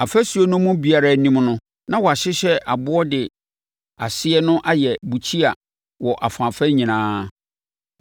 Afasuo no mu biara anim no na wɔahyehyɛ aboɔ de aseɛ no ayɛ bukyia wɔ afaafa nyinaa.